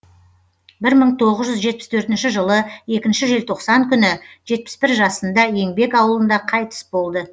бір мың тоғыз жүз жетпіс төртінші жылы екінші желтоқсан күні жетпіс бір жасында еңбек ауылында қайтыс болды